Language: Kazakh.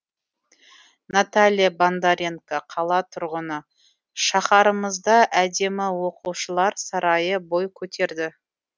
наталья бондаренко қала тұрғыны шаһарымызда әдемі оқушылар сарайы бой көтерді